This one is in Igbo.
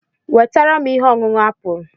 Wetara m ihe ọṅụṅụ apụl.